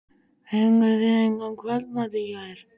Fenguð þið engan kvöldmat í gær?